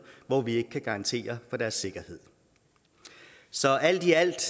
hvor vi ikke kan garantere for deres sikkerhed så alt i alt